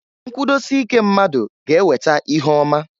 Nkwudosike mmadu ga eweta ihe ọma.